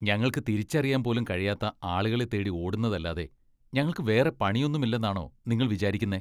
ഞങ്ങൾക്ക് തിരിച്ചറിയാൻ പോലും കഴിയാത്ത ആളുകളെ തേടി ഓടുന്നതല്ലാതെ ഞങ്ങൾക്ക് വേറെ പണിയൊന്നുമില്ലെന്നാണോ നിങ്ങൾ വിചാരിക്കുന്നെ ?